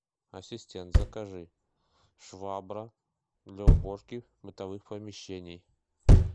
ассистент закажи швабра для уборки бытовых помещений